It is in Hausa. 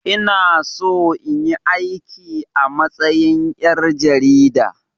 Ina so in yi aiki a matsayin ƴar jarida